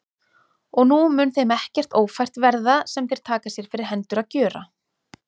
Og nú mun þeim ekkert ófært verða, sem þeir taka sér fyrir hendur að gjöra.